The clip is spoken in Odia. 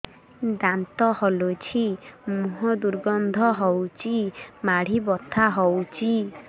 ଦାନ୍ତ ହଲୁଛି ମୁହଁ ଦୁର୍ଗନ୍ଧ ହଉଚି ମାଢି ବଥା ହଉଚି